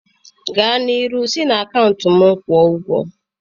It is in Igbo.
Gaa n'iru isi na akaụntụ m kwuo ụgwọ